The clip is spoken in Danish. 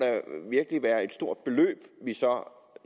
være et stort beløb